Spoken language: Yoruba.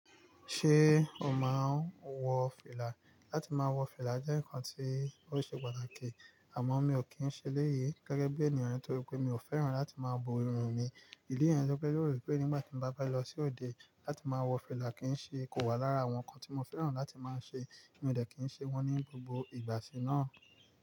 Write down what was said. Ṣé o máa ń wọ fìlà? Láti máa wọ fìlà jẹ́ ǹkan tí ó ṣe pàtàkì, àmọ́ mi ò kí ń ṣe eléyìí gẹ́gẹ́ bí ènìyàn nítorí pé mi ò fẹ́ràn láti máa bo irun mi. Ilé ẹ jọ fẹ́ rò pé nígbà tí mo bá bá lọ sí òde, láti máa wọ fìlà kì í ṣe kò wá lára àwọn ǹkan tí mo fẹ́ràn láti máa ń ṣe, mo dẹ̀ kì í ṣe wọ́n ní gbogbo ìgbà sì náà.